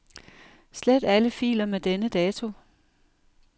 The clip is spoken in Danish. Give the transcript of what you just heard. Slet alle filer med denne dato.